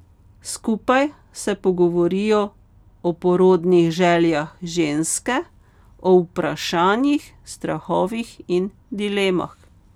Skupaj se pogovorijo o porodnih željah ženske, o vprašanjih, strahovih in dilemah.